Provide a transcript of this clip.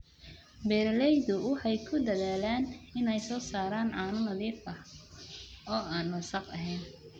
Beeraleydu waxay ku dadaalaan inay soo saaraan caano nadiif ah oo aan wasakh ahayn.